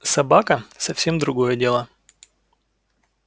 собака совсем другое дело